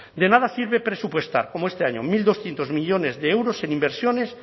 de nada sirve presupuestar como este año mil doscientos millónes de euros en inversiones